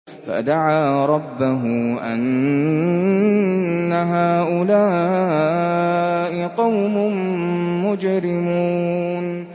فَدَعَا رَبَّهُ أَنَّ هَٰؤُلَاءِ قَوْمٌ مُّجْرِمُونَ